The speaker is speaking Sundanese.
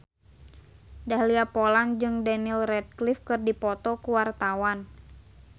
Dahlia Poland jeung Daniel Radcliffe keur dipoto ku wartawan